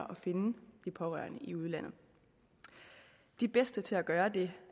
finde de pårørende i udlandet de bedste til at gøre det